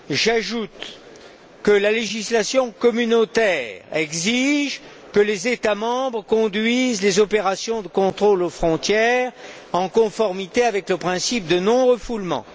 J'ajoute que la législation communautaire exige que les États membres conduisent les opérations de contrôle aux frontières en conformité avec le principe de non refoulement.